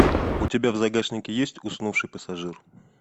у тебя в загашнике есть уснувший пассажир